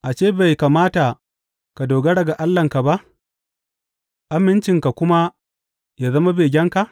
Ashe bai kamata ka dogara ga Allahnka ba, amincinka kuma yă zama begenka?